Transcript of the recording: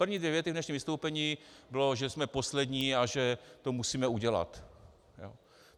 První dvě věty v dnešním vystoupení byly, že jsme poslední a že to musíme udělat.